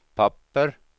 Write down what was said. papper